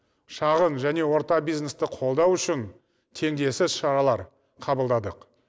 шағын және орта бизнесті қолдау үшін теңдессіз шаралар қабылдадық